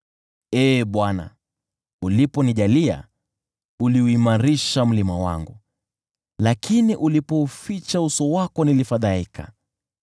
Ee Bwana , uliponijalia, uliuimarisha mlima wangu, lakini ulipouficha uso wako nilifadhaika.